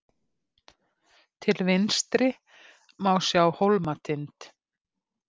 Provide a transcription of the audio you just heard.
Til vinstri má sjá Hólmatind.